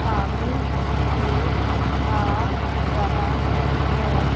सामने से आ रहा है।